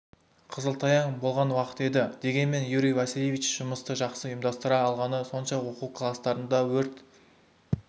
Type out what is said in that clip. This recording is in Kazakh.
қысылтаяң болған уақыт еді дегенмен юрий васильевич жұмысты жақсы ұйымдастыра алғаны сонша оқу кластарында өрт